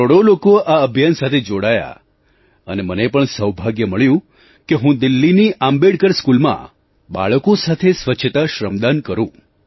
કરોડો લોકો આ અભિયાન સાથે જોડાયા અને મને પણ સૌભાગ્ય મળ્યું કે હું દિલ્લીની આંબેડકર સ્કૂલમાં બાળકો સાથે સ્વચ્છતા શ્રમદાન કરું